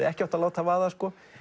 ekki átt að láta vaða